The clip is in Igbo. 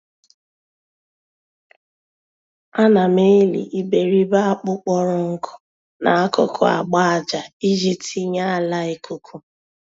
Ana m eli iberibe akpu kpọrọ nkụ n'akụkụ agba-ájá iji tinye ala ikuku